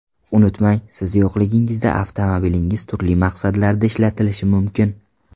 Unutmang, siz yo‘qligingizda avtomobilingiz turli maqsadlarda ishlatilishi mumkin.